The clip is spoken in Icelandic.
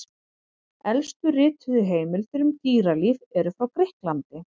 Elstu rituðu heimildir um dýralíf eru frá Grikklandi.